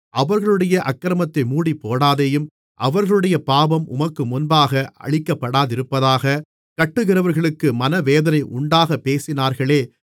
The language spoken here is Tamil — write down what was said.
அவர்களுடைய அக்கிரமத்தை மூடிப்போடாதேயும் அவர்களுடைய பாவம் உமக்கு முன்பாக அழிக்கப்படாதிருப்பதாக கட்டுகிறவர்களுக்கு மனவேதனை உண்டாகப் பேசினார்களே